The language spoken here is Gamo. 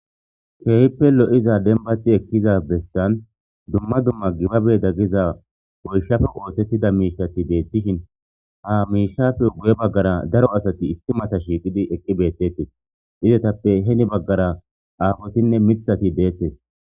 keehippe lo'za denbati ekkiza bessan dumma dumma gibabe daggiza goyshafe oosettida miishati deetishin ha miishafe guye baggara daro asati istimata shiiqidi eqqi beettettes izetappe heni baggara aafotinne mithati deettes.